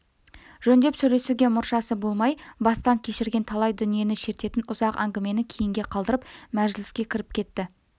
жөндеп сөйлесуге мұршасы болмай бастан кешірген талай дүниені шертетін ұзақ әңгімені кейінге қалдырып мәжіліске кіріп кетті